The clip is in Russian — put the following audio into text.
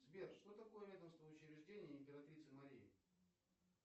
сбер что такое ведомственное учреждение императрицы марии